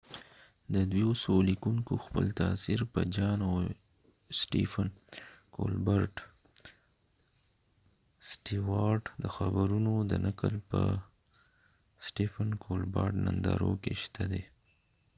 ددوي څو لیکونکو خپل تاثیر په جان سټیوارتjohn stewart او سټیفن کولبرټ stephen colbert د خبرونو د نقل په نندارو کې شته دي